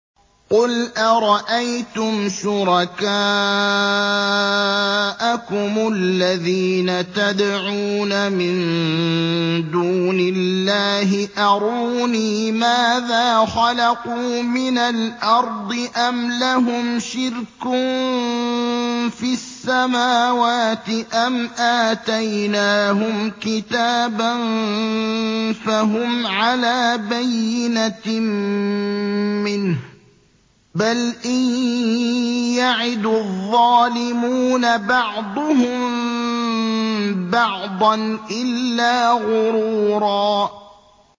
قُلْ أَرَأَيْتُمْ شُرَكَاءَكُمُ الَّذِينَ تَدْعُونَ مِن دُونِ اللَّهِ أَرُونِي مَاذَا خَلَقُوا مِنَ الْأَرْضِ أَمْ لَهُمْ شِرْكٌ فِي السَّمَاوَاتِ أَمْ آتَيْنَاهُمْ كِتَابًا فَهُمْ عَلَىٰ بَيِّنَتٍ مِّنْهُ ۚ بَلْ إِن يَعِدُ الظَّالِمُونَ بَعْضُهُم بَعْضًا إِلَّا غُرُورًا